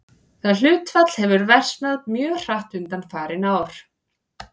Það hlutfall hefur versnað mjög hratt undanfarin tvö ár.